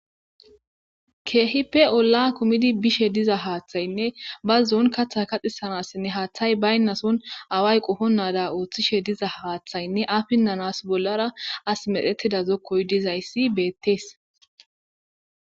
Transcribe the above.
keehipe olla kumidi bishe diza haaththaynne ba zoon kaththa kaxisanassinne haaththay baynnason away qofonnada ooththishe diza haaththaynne afinnanas bollara as medetida zokkoy dizayssi beettees